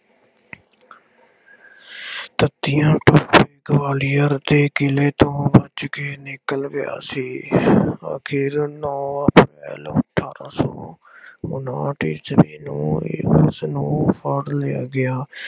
ਤਾਂਤੀਆ ਟੋਪੇ ਗਵਾਲੀਅਰ ਦੇ ਕਿਲੇ ਤੋਂ ਭੱਜ ਕੇ ਨਿਕਲ ਗਿਆ ਸੀ। ਆਖਿਰ ਨੌ ਅਪ੍ਰੈਲ ਅਠਾਰਾਂ ਸੌਂ ਉਨਾਹਠ ਈਸਵੀ ਨੂੰ ਉਸਨੂੰ ਫੜ੍ਹ ਲਿਆ ਗਿਆ।